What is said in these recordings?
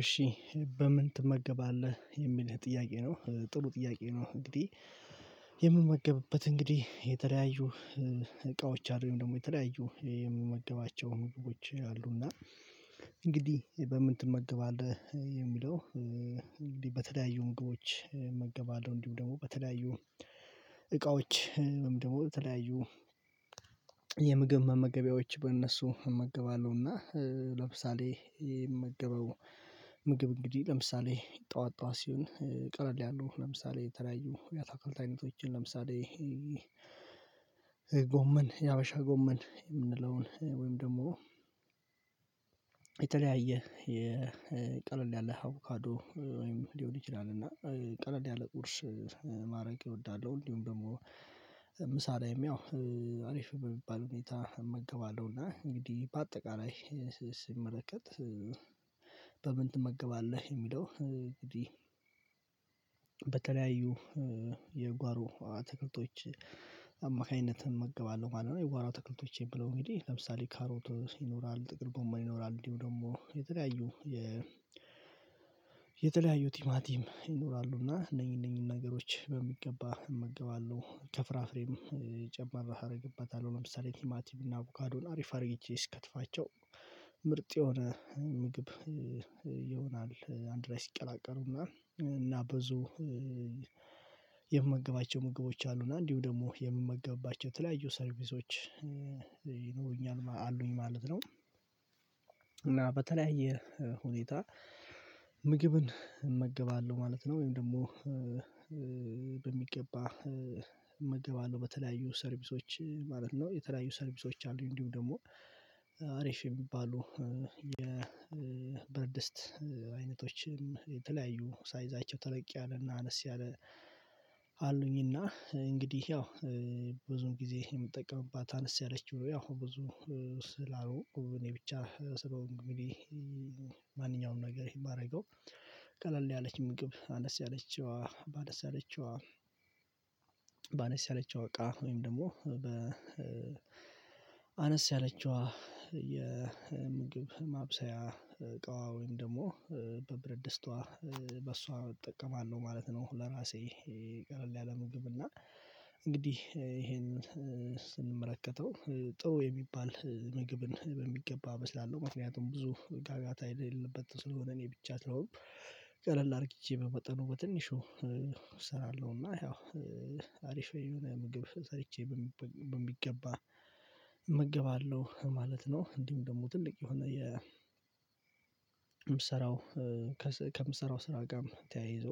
እሺ በምን ትመገባለህ የሚልህ ጥያቄ ነው ጥሩ ጥያቄ ነው። እንግዲህ የምመገብበት እንግዲህ የተለያዩ እቃዎች አሉ ወይም ደግሞ የተለያዩ የምመገባቸውን ዎች አሉና። እንግዲህ በምን ትመገባለህ የሚለው እንግዲህ በተለያዩ ምግቦች እመገባለሁ። እንዲሁ ደግሞ በተለያዩ እቃዎች ደግሞ ተለያዩ የምግብ መመገቢያዎች በእነሱ እመገባለሁ። እና ለምሳሌ የምመገበው ምግብ እንግዲህ ለምሳሌ ጠዋት ጠዋት ሲሆን ቀለል ያለው ለምሳሌ የተለያዩ የአታክልት አይነቶችን ለምሳሌ ጎመን የሀበሻ ጎመን የምንለውን ወይም ደግሞ የተለያየ የቀለል ያለ አቮካዶ ወይም ሊሆን ይችላል እና ቀለል ያለ ቁርስ ማረግ እወዳለሁ። እንዲሁም ደግሞ ምሳ ላይም ያው አሪፍ የሚባል ሁኔታ እመገባለሁ። እና እንግዲህ በአጠቃላይ ስመለከት በምን ትመገባለህ የሚለው እንግዲህ በተለያዩ የጓሮ አትክልቶች አማካኝነት እመገባለሁ ማለት ነው። የጓሮ ትክልቶቼን የምለው እንግዲህ ለምሳሌ ካሮቶ ይኖራል ጥቅል ጎመን ይኖራል እንዲሁ ደግሞ የተለያዩ የ የተለያዩ ቲማቲም ይኖራሉና እነኚህ እነኚህ ነገሮች በሚገባ እመግባለሁ። ከፍራፍሬም ጨምር አደርግበታለሁ ለምሳሌ ቲማቲም እና አቡካዶን አሪፍ አርግጄ ስከትፋቸው ምርጥ የሆነ ምግብ ይሆናል። አንድ ላይ ሲቀላቀሉና እና በዙ የምመገባቸው ምግቦች አሉ እና እንዲሁ ደግሞ የምመገባቸው የተለያዩ ሰርቪሶች ይኖሩኛል አሉኝ ማለት ነው። እና በተለያየ ሁኔታ ምግብን እመገባለሁ ማለት ነው። ወይም ደግሞ በሚገባ እመገባለሁ በተለያዩ ሰርቪሶች ማለት ነው። የተለያዩ ሰርቪሶች አሉኝ እንዲሁ ደግሞ አሪፍ የሚባሉ የብረትድስት አይነቶችን የተለያዩ ሳይዛቸው ተለቅ ያለና አነስ ያለ አሉኝና እንግዲህ ያው ብዙም ጊዜ የምጠቀምባት አነስ ያለችው ያው ብዙ ስላሉ እኔ ብቻ ስለሆንኩኝ ማንኛውንም ነገር የማደርገው ቀለል ያለች ምግብ አነስ ያለችው አነሰያለችው ባነስያለችው እቃ ወይም ደግሞ በ አነስ ያለችዋ የምግብ ማብሰያ እቃዋ ወይም ደግሞ በብርድ ድስትዋ በሷ እጠቀማለሁ ማለት ነው። ለራሴ ቀለል ያለ ምግብ እና እንግዲህ ይሄንን ስንመለከተው ጥሩ የሚባል ምግብን በሚገባ እበስላለሁ ምክንያቱም ብዙ ጋጋታ የሌለበት ስለሆነ እኔ ብቻ ስለሆንኩ ቀለል አድርጌቼ በመጠኑ በትንሹ እሰራለሁና ያው አሪፍ የሆነ ምግብ ሰርቼ በሚገባ እመግባለሁ ማለት ነው። እንዲህም ደግሞ ትልቅ የሆነ የ ከምሰራው ስራ ጋር ተያይዞ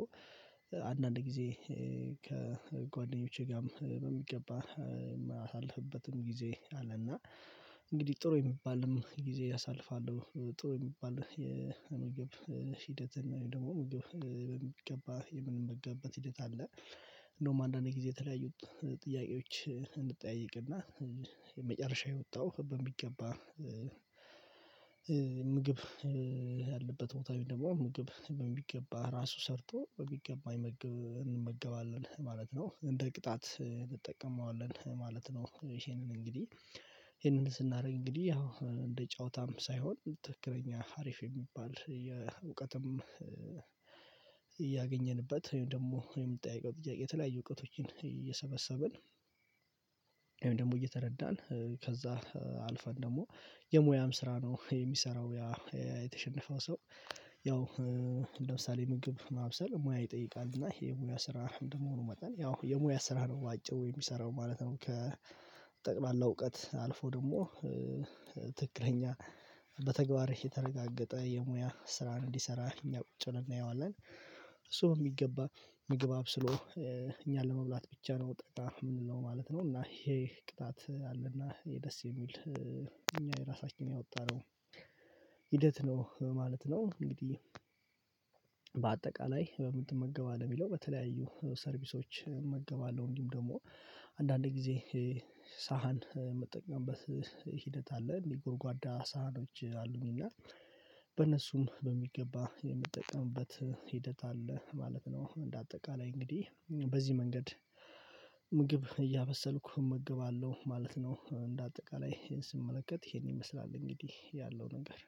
አንዳንድ ጊዜ ከጓደኞቼ ጋርም በሚገባ የማሳልፍበትም ጊዜ አለና እንግዲህ ጥሩ የሚባልም ጊዜ አሳልፋለሁ። ጥሩ የሚባል የምግብ ሂደት ደግሞ ምግብ ምን በሚገባ የምንምገብበት ሂደት አለ። እንደውም አንዳንዴ ጊዜ የተለያዩት ጥያቄዎች የመጨረሻ የወጣው በሚገባ ምግብ ያለበት ቦታ ደግሞ ምግብ በሚገባ ራሱ ሰርቶ በሚገባ እንመገባለን ማለት ነው። እንደ ቅጣት እንጠቀመዋለን ማለት ነው። ይሄንን እንግዲህ ይሄንን ስናደርግ እንግዲህ ያው እንደ ጨዋታም ሳይሆን ትክክለኛ ሀሪፍ የሚባል የእውቀትም እያገኘንበት ወይም ደግሞ ወይም የምትጠይቀው ጥያቄ የተለያዩ እውቀቶችን እየሰበሰብን ደግሞ እየተረዳን ከዛ አልፈን ደግሞ የሙያም ስራ ነው የሚሰራው። የተሸነፈው ሰው ያው ለምሳሌ ምግብ ማብሰል ሙያ ይጠይቃል እና ይሄ ሙያ ስራ እንደመሆኑ መጣን ያው የሙያ ስራ ነው በአጭሩ የሚሰራው ማለት ነው። ከጠቅላላ እውቀት አልፎ ደግሞ ትክክለኛ በተግባር የተረጋገጠ የሙያ ስራን እንዲሰራ እኛ ቁጭ ብለን እናየዋለን እሱ የሚገባ ምግብ አብስሎ እኛን ለመብላት ብቻ ነው የምንለው ማለት ነው። እና ይሄ ቅጣት አለና ይሄ ደስ የሚል እኛ የራሳችን ያወጣነው ሂደት ነው ማለት ነው። እንግዲህ በአጠቃላይ በምን ትመገባለህ የሚለው በተለያዩ ሰርቪሶች እመገባለሁ። እንዲሁም ደግሞ አንዳንዴ ጊዜ ሳህን የምትጠቀምበት ሂደት አለ የጎርጓዳ ሳህኖች አሉኝና በነሱም በሚገባ የምጠቀምበት ሂደት አለ ማለት ነው። እንደ አጠቃላይ እንግዲህ በዚህ መንገድ ምግብ እያበሰልኩ እመግባለሁ ማለት ነው። እንደ አጠቃላይ ይሄን ስመለከት ይሄን ይመስላል እንግዲህ ያለው ነገር